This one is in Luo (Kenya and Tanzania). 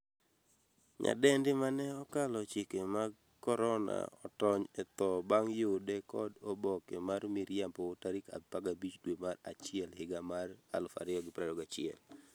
nyadendi mane 'okalo chike mag korona' otony e tho bang' yude kod oboke mar miriambo tarik 15 dwe mar achiel higa mar 2021